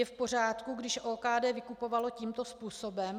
Je v pořádku, když OKD vykupovala tímto způsobem?